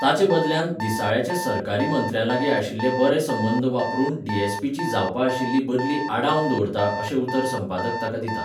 ताचे बदल्यांत, दिसाळ्याचे सरकारी मंत्र्यालागीं आशिल्ले बरे संबंद वापरून डीएसपीची जावपा आशिल्ली बदली आडावन दवरतां अशें उतर संपादक ताका दिता.